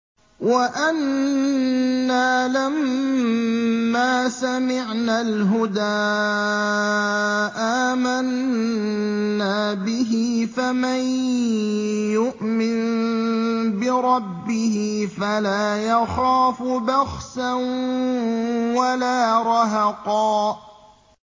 وَأَنَّا لَمَّا سَمِعْنَا الْهُدَىٰ آمَنَّا بِهِ ۖ فَمَن يُؤْمِن بِرَبِّهِ فَلَا يَخَافُ بَخْسًا وَلَا رَهَقًا